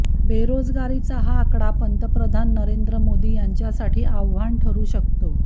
बेरोजगारीचा हा आकडा पंतप्रधान नरेंद्र मोदी यांच्यासाठी आव्हान ठरू शकतो